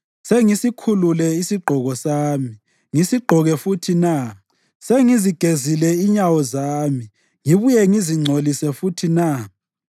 Sengisikhulule isigqoko sami ngisigqoke futhi na? Sengizigezile inyawo zami ngibuye ngizingcolise futhi na?